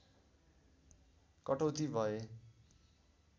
कटौती भए